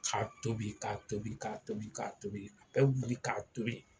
K'a tobi k'a tobi k'a tobi a bɛ wuli k'a tobi